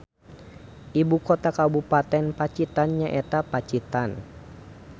Ibu kota kabupaten Pacitan nyaeta Pacitan